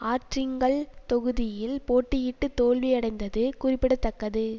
ஆற்றிங்கல் தொகுதியில் போட்டியிட்டு தோல்வி அடைந்தது கூறிபிடதக்கது